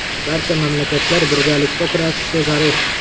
Barcha mamlakatlar birgalikda kurashishi zarur.